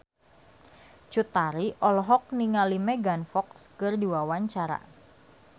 Cut Tari olohok ningali Megan Fox keur diwawancara